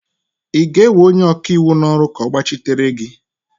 ị ga-ewe onye ọkaiwu n'ọrụ ka ọ gbachitere gị?